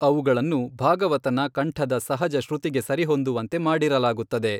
ಅವುಗಳನ್ನು ಭಾಗವತನ ಕಂಠದ ಸಹಜ ಶ್ರುತಿಗೆ ಸರಿಹೊಂದುವಂತೆ ಮಾಡಿರಲಾಗುತ್ತದೆ.